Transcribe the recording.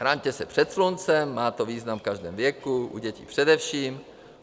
Chraňte se před sluncem, má to význam v každém věku, u dětí především.